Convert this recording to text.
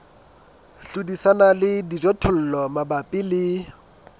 hlodisana le dijothollo mabapi le